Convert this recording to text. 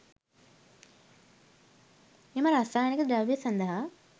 මෙම රසායනික ද්‍රව්‍ය සඳහා